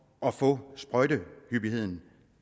at få sprøjtehyppigheden